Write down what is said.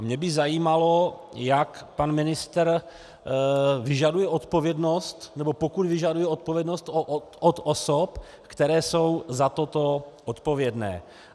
A mě by zajímalo, jak pan ministr vyžaduje odpovědnost, nebo pokud vyžaduje odpovědnost, od osob, které jsou za toto odpovědné.